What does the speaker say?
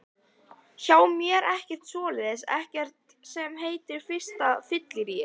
Hjá mér er ekkert svoleiðis, ekkert sem heitir fyrsta fylliríið.